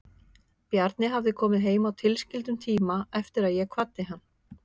Bjarni hafði komið heim á tilskildum tíma eftir að ég kvaddi hann.